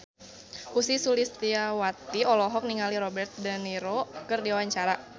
Ussy Sulistyawati olohok ningali Robert de Niro keur diwawancara